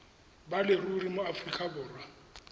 ba leruri mo aforika borwa